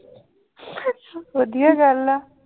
ਵਧੀਆ ਗੱਲ ਆ।